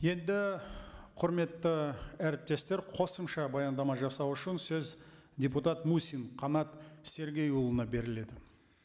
енді құрметті әріптестер қосымша баяндама жасау үшін сөз депутат мусин қанат сергейұлына беріледі